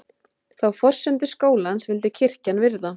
Þá forsendu skólans vildi kirkjan virða